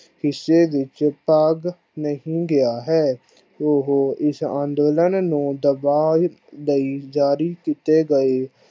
ਹਿਸੇ ਵਿਚ ਭਾਗ ਨਹੀਂ ਗਿਆ ਹੈ। ਉਹ ਇਸ਼ ਅੰਦੋਲਨ ਨੂੰ ਦਬਾ ਲਾਇ ਜਾਰੀ ਕੀਤੇ ਗਏ ।